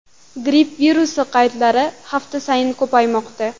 Gripp virusi qaydlari hafta sayin ko‘paymoqda.